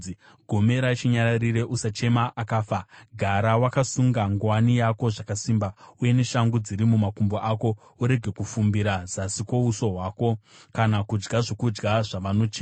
Gomera chinyararire; usachema akafa. Gara wakasunga nguwani yako zvakasimba uye neshangu dziri mumakumbo ako; urege kufumbira zasi kwouso hwako kana kudya zvokudya zvavanochema.”